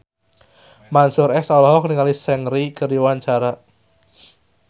Mansyur S olohok ningali Seungri keur diwawancara